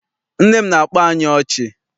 Nne m na-akpa anyị ọchị.